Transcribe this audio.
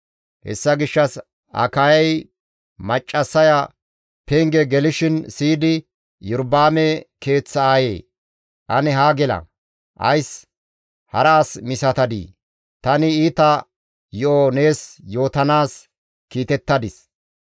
Hessa gishshas Akayay maccassaya penge gelishin siyidi, «Iyorba7aame keeththa aayee! Ane haa gela. Ays hara as misatadii? Tani iita yo7o nees yootanaas kiitettadis.